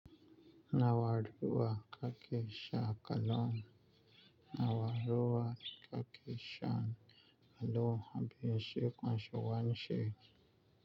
Nawa ruwa ka ke sha a Kano? Nawa ruwa ka ke shan a Kano a bikin Sharo Wanshai?